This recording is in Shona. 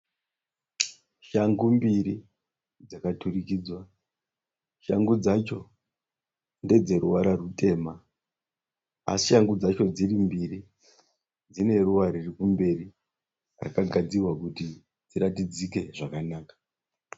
Shangu mbiri dzakaturikidzwa. Shangu dzacho ndedzeruvara rutema asi shangu dzacho dziri mbiri dzineruva ririkumberi rakagadzirirwa kuti dziratidzike zvakanaka.